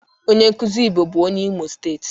Onye nkuzi Igbo bu onye Imo steeti.